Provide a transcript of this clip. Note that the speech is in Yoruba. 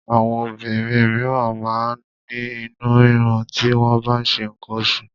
Àwọn obìnrin míràn máa ń ní inú rírun ti wọ́n bá ń ṣe nǹkan oṣù.